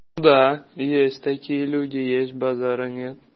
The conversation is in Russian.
да есть такие люди есть базара нет